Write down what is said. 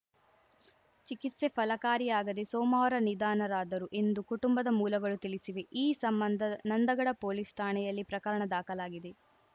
ಚಿಕಿತ್ಸೆ ಫಲಕಾರಿಯಾಗದೆ ಸೋಮವಾರ ನಿಧನರಾದರು ಎಂದು ಕುಟುಂಬದ ಮೂಲಗಳು ತಿಳಿಸಿವೆ ಈ ಸಂಬಂಧ ನಂದಗಡ ಪೊಲೀಸ್‌ ಠಾಣೆಯಲ್ಲಿ ಪ್ರಕರಣ ದಾಖಲಾಗಿದೆ